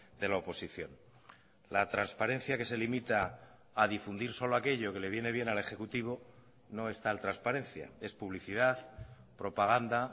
de la oposición la transparencia que se limita a difundir solo aquello que le viene bien al ejecutivo no es tal transparencia es publicidad propaganda